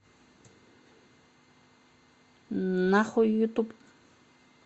на хуй ютуб